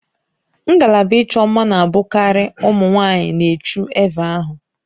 Ngalaba ịchọ mma na-abụkarị ụmụ nwaanyị n'eju eve ahụ